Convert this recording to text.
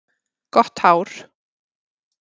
Gott hár.